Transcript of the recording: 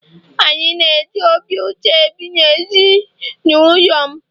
anyị na-eji obi ụtọ ebi na ezi n'ụlọ m